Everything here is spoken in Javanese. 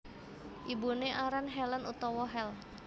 Ibuné aran Helen utawa Hel